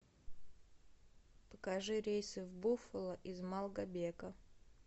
покажи рейсы в буффало из малгобека